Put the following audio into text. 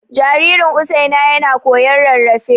Jaririn Usaina yana koyon rarrafe.